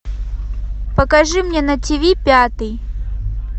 покажи мне на тв пятый